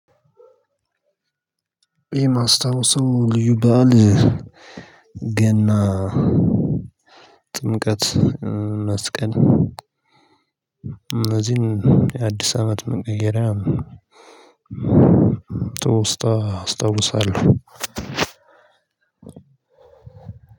እኔ የማስታውሰው ልዩ በዓል ገና፣ ጥምቀት፣ መስቀል እነዚህን የአዲስ አመት መቀየሪያ። ትውስታ አስታውሳለሁ።